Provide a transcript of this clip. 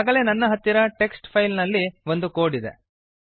ಈಗಾಗಲೇ ನನ್ನ ಹತ್ತಿರ ಟೆಕ್ಸ್ಟ್ ಫೈಲ್ ನಲ್ಲಿ ಒಂದು ಕೋಡ್ ಇದೆ